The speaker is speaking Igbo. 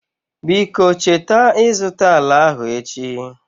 Biko cheta ịzụta ala ahụ echi.